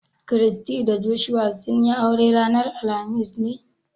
Christy da Joshua sun yi aure ranar alhamis ne?